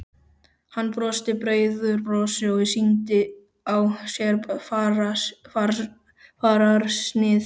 Hann brosti breiðu brosi og sýndi á sér fararsnið.